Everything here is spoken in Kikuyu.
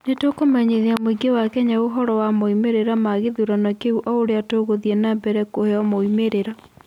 Nĩ tũkũmenyithia mũingĩ wa Kenya ũhoro wa moimĩrĩro ma gĩthurano kĩu o ũrĩa tũgũthiĩ na mbere kũheo moumĩrĩra